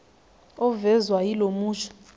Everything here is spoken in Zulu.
ovezwa yilo musho